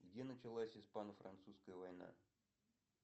где началась испано французская война